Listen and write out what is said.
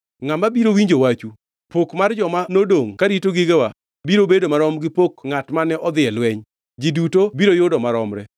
Ngʼama biro winjo wachu? Pok mar joma nodongʼ karito gigewa biro bedo marom gi pok ngʼat mane odhi e lweny. Ji duto biro yudo maromre.”